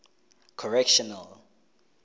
correctional